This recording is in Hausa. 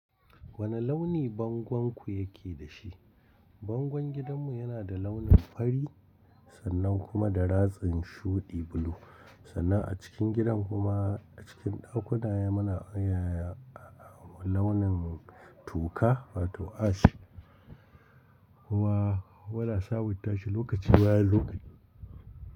Wani launi bangonku yake da shi? Bangon gidanmu yana da launin fari sannan kuma da ratsin shuɗi bulu. Sannan a cikin gidan kuma a cikin ɗakuna mana, ya, launin toka wato ash. Kuma, mu na sabunta shi lokaci bayan lokaci.